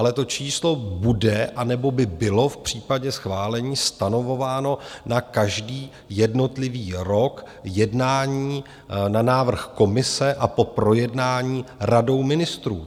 Ale to číslo bude, anebo by bylo, v případě schválení stanovováno na každý jednotlivý rok jednání na návrh Komise a po projednání Radou ministrů.